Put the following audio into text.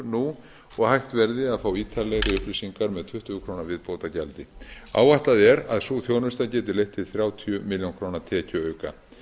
nú og hægt verði að fá ítarlegri upplýsingar með tuttugu krónur viðbótargjaldi áætlað er að sú þjónusta geti leitt til þrjátíu milljónir króna tekjuauka